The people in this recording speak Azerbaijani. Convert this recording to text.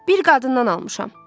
Bir qadından almışam.